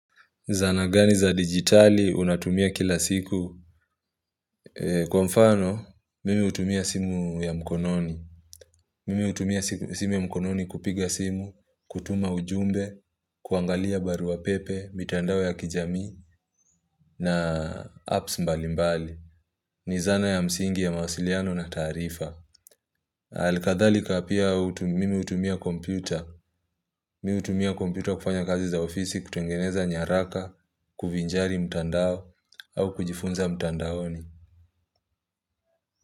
Zana gani za digitali unatumia kila siku? Kwa mfano, mimi utumia simu ya mkononi. Mimi utumia simu ya mkononi kupiga simu, kutuma ujumbe, kuangalia barua pepe, mitandao ya kijami na apps mbali mbali. Ni zana ya msingi ya mawasiliano na taarifa. Alikadhalika pia mimi utumia kompyuta. Mi hutumia kompyuta kufanya kazi za ofisi kutengeneza nyaraka, kuvinjari mtandao au kujifunza mtandaoni.